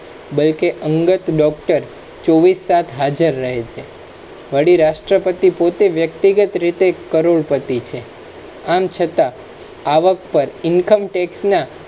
બલ્કે અગંત doctor ચોબીસ તાસ હજાર રહે છે વળી રાષ્ટ્રપતિ પોતે વ્યકિતગત રીતે કરોડપતિ છે આમ છતા આવક પ incometax ના